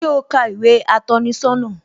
Ṣé o ka ìwé atọ́ni sọ́nà?